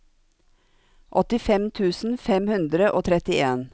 åttifem tusen fem hundre og trettien